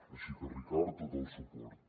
així que ricard tot el suport